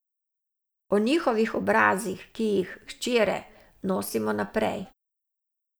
O njihovih obrazih, ki jih, hčere, nosimo naprej.